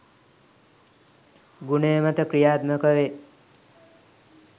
ගුණය මත ක්‍රියාත්මක වේ